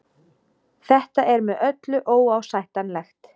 Þetta er með öllu óásættanlegt